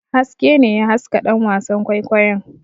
Haske ne ya haska ɗan wasan kwaikwayon.